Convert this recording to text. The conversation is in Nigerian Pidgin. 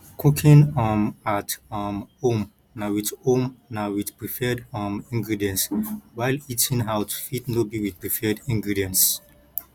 cooking um at um home na with home na with preferred um ingredients while eating out fit no be with preferred ingredients